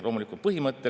Head kolleegid!